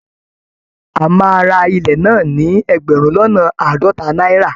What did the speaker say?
A máa ra ilẹ̀ náà ní ẹgbẹ̀rún lọ́nà àádọ́ta náírà